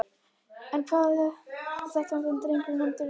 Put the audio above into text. En hvað er það sem dregur nemendur í heimavistarskóla?